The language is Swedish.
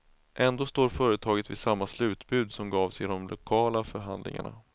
Ändå står företaget vid samma slutbud som gavs i de lokala förhandlingarna.